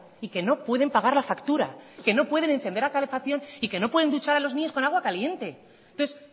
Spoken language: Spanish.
y que no pueden pagar la factura que no pueden encender la calefacción y que no pueden duchar a los niños con agua caliente entonces